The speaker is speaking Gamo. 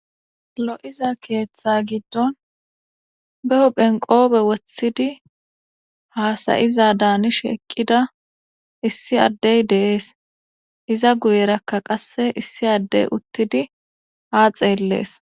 Lo7iza keeththa giddon be hu phenqoobe woththidi haasayiza daanishe eqqida issi addey deees iza guyerakka qasse issi addey uttidi haa xeellees.